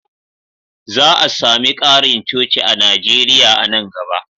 Za a sami ƙarin coci a Najeriya a nan gaba.